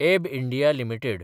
एब India limited